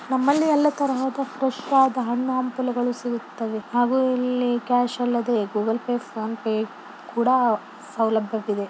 ನಮಲ್ಲಿ ಎಲ್ಲ ತರಹದ ಫ್ರೆಶಾದ ಹಣ್ಣು ಹಂಪಲುಗಳು ಸಿಗುತ್ತವೆ ಹಾಗು ಇಲ್ಲಿ ಕ್ಯಾಶ್ ಅಲ್ಲದೆ ಗೂಗಲ್ ಪೆ ಫೋನ್ ಪೆ ಕೂಡ ಸುಲಭ್ಯವಿದೆ.